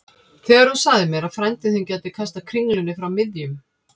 Þegar þú sagðir mér að frændi þinn gæti kastað kringlunni frá miðjum